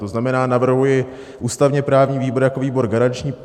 To znamená, navrhuji ústavně-právní výbor jako výbor garanční.